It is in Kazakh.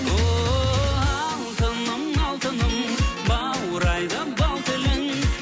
ооо алтыным алтыным баурайды бал тілің